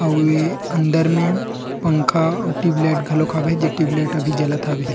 उ ए अंदर में पंखा टिव लाइट खलोक हवे जे टिव लाइट अभी जलत हवे --